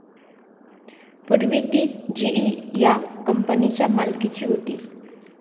पूर्वी ती जीई या कंपनीच्या मालकीची होती.